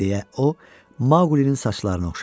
deyə o Maqulinin saçlarına oxşadı.